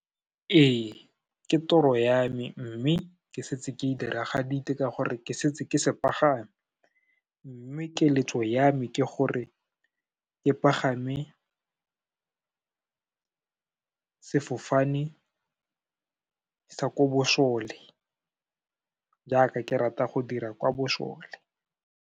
Ee, ke toro ya me mme, ke setse ke e diragaditse ka gore ke setse ke se pagame. Mme keletso ya me ke gore, ke pagame, sefofane sa ko bosole, jaaka ke rata go dira kwa bosole.